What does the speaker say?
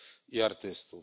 i artystów.